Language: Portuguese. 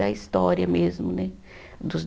Da história mesmo, né? Dos